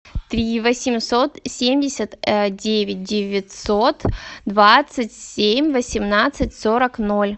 три восемьсот семьдесят девять девятьсот двадцать семь восемнадцать сорок ноль